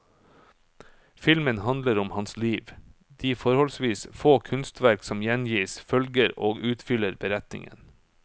Filmen handler om hans liv, de forholdsvis få kunstverk som gjengis, følger og utfyller beretningen.